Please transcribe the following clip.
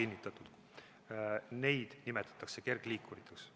Neid nimetatakse kergliikuriteks.